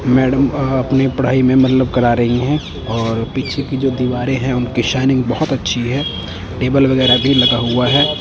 Madam अ अपनी पढ़ाई में मतलब करा रही है और पीछे की जो दीवारें है उनकी शाइनिंग बहोत अच्छी है टेबल वगैरा भी लगा हुआ है।